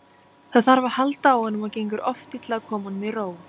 Það þarf að halda á honum og gengur oft illa að koma honum í ró.